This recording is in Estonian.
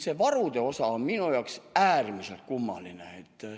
See varude osa on minu jaoks äärmiselt kummaline.